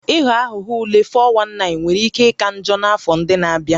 Ịghọ aghụghọ ule (419) nwere ike ịka njọ n'afọ ndị na-abịa